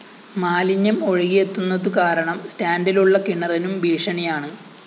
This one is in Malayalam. മാലിന്യം ഒഴുകിയെത്തുന്നതു കാരണം സ്റ്റാന്‍ഡിലുള്ള കിണറിനും ഭീഷണിയാണ്